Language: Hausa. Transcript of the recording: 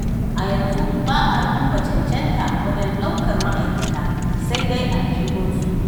A yanzu ba a duba cancanta wajen ɗaukar ma'aikata, sai dai aljihunsu.